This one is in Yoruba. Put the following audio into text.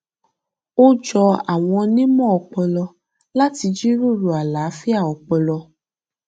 ó jọ àwọn onímọ ọpọlọ láti jíròrò àlàáfíà ọpọlọ